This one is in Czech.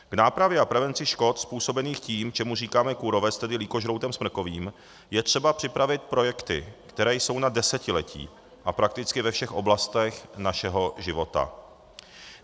K nápravě a prevenci škod způsobených tím, čemu říkáme kůrovec, tedy lýkožroutem smrkovým, je třeba připravit projekty, které jsou na desetiletí a prakticky ve všech oblastech našeho života.